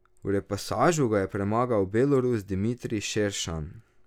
V repasažu ga je premagal Belorus Dimitrij Šeršan.